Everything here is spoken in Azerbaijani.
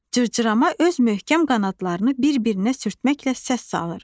Cırcırama öz möhkəm qanadlarını bir-birinə sürtməklə səs salır.